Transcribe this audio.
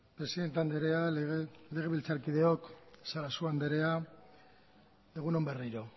presidente andrea legebiltzarkideok sarasua andrea egun on berriro